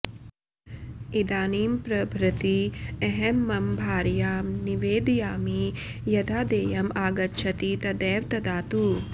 इदानीं प्रभृति अहं मम भार्यां निवेदयामि यदा देयम् आगच्छति तदैव ददातु